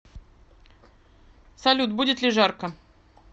салют будет ли жарко